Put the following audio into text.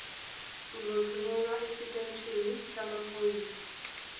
uzothunyelwa esiteshini samaphoyisa